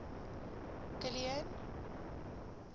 kilian